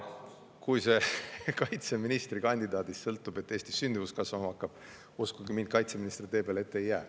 Kui see sõltub kaitseministrikandidaadist, et Eestis sündimus kasvama hakkaks, siis uskuge mind, kaitseminister tee peale ette ei jää.